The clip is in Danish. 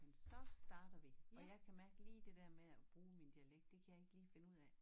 Men så starter vi og jeg kan mærke lige det dér med at bruge min dialekt det kan jeg ikke lige finde ud af